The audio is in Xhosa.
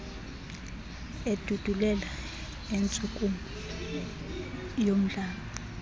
edudulela intshukumo yomdlalo